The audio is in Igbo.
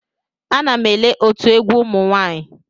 Ana m ele otu egwu ụmụ nwanyị.